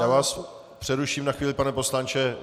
Já vás přeruším na chvíli, pane poslanče.